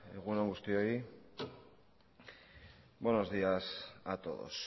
egun on guztioi buenos días a todos